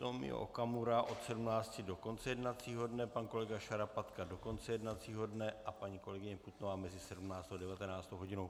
Tomio Okamura od 17.00 do konce jednacího dne, pan kolega Šarapatku do konce jednacího dne a paní kolegyně Putnová mezi 17. a 19. hodinou.